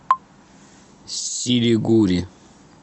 силигури